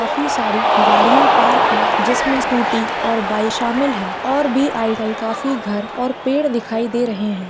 काफी सारी गाड़ियां पार्क है जिसमे स्कूटी और बाइक शामिल है और भी काफी घर और पेड़ दिखाई दे रहे हैं।